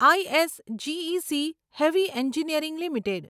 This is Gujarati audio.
I S G E C heavy engineering limited